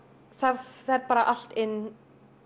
það fer bara allt inn